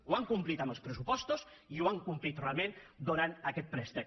ho hem complit amb els pressupostos i ho hem complit realment donant aquest préstec